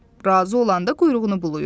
Razı olanda quyruğunu bulayır.